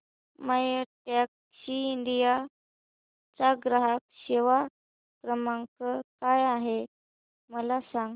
My Taxi India चा ग्राहक सेवा क्रमांक काय आहे मला सांग